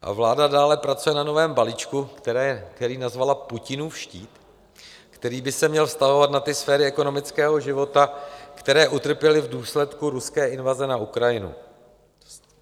Vláda dále pracuje na novém balíčku, který nazvala Putinův štít, který by se měl vztahovat na ty sféry ekonomického života, které utrpěly v důsledku ruské invaze na Ukrajinu.